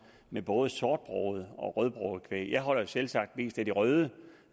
med både sortbroget og rødbroget kvæg jeg holder selvsagt mest af det røde